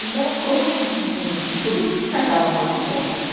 Então, foi um um um... E por isso que se casava mais depressa, né?